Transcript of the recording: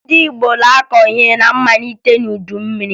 Ndị Igbo na-akọ ihe na mmalite udu mmiri